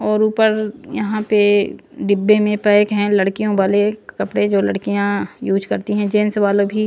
और ऊपर यहाँ पे डिब्बे में पैक हैं लड़कियों वाले कपड़े जो लड़कियाँ यूज करती हैं जेंस वाले भी--